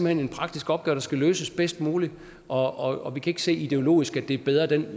hen en praktisk opgave der skal løses bedst muligt og og vi kan ikke se ideologisk at det er bedre at den